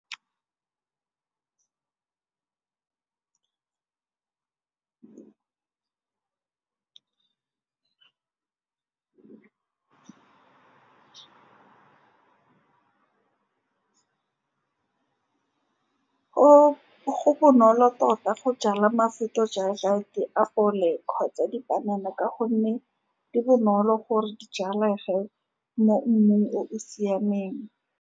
Go bonolo tota go jala mafoko, jang ga di a fole kgotsa dipanana, ka gonne di bonolo gore di jalega le mo mmung o o siameng.